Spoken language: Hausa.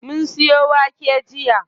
Mun siyo wake jiya.